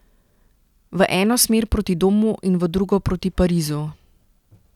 V eno smer proti domu in v drugo proti Parizu.